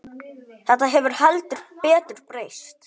Þetta hefur heldur betur breyst.